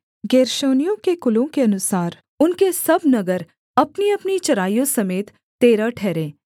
गेर्शोनियों के कुलों के अनुसार उनके सब नगर अपनीअपनी चराइयों समेत तेरह ठहरे